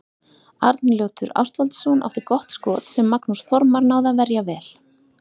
Arnljótur Ástvaldsson átti gott skot sem Magnús Þormar náði að verja vel.